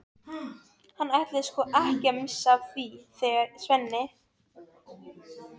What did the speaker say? Hann ætlaði sko ekki að missa af því þegar Svenni